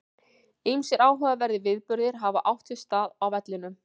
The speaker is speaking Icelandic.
Ýmsir áhugaverðir viðburðir hafa átt sér stað á vellinum.